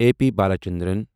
A P Balachandran